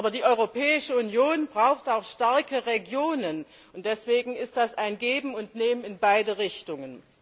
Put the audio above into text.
Aber die Europäische Union braucht auch starke Regionen, und deswegen ist das ein Geben und Nehmen in beide Richtungen.